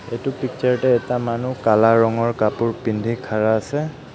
এইটো পিকচাৰ তে এটা মানুহ কালা ৰঙৰ কাপোৰ পিন্ধি খাড়া আছে.